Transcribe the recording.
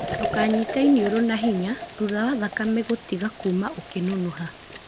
ndũkanyite iniũrũ na hinya thutha wa thakame yatiga kuma ukĩnunuha.